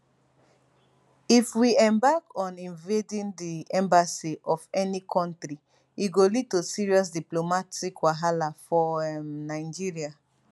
if we embark on invading di embassy of any kontri e go lead to serious diplomatic wahala for um nigeria